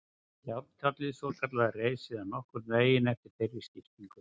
Járntjaldið svokallaða reis síðan nokkurn veginn eftir þeirri skiptingu.